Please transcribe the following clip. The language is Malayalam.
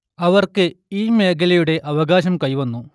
അവർക്ക് ഈ മേഖലയുടെ അവകാശം കൈവന്നു